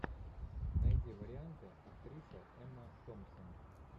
найди варианты актриса эмма томпсон